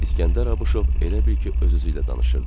İsgəndər Abışov elə bil ki, öz-özüylə danışırdı.